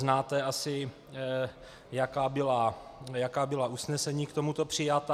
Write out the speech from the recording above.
Znáte asi, jaká byla usnesení k tomuto přijata.